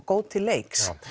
góð til leiks já